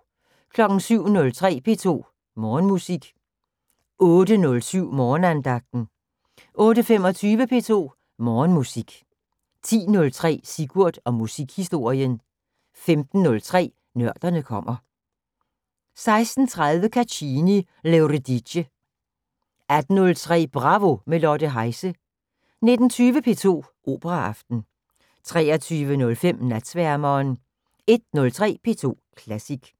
07:03: P2 Morgenmusik 08:07: Morgenandagten 08:25: P2 Morgenmusik 10:03: Sigurd og musikhistorien 15:03: Nørderne kommer 16:30: Caccini: L'Euridice 18:03: Bravo – med Lotte Heise 19:20: P2 Operaaften 23:05: Natsværmeren 01:03: P2 Klassisk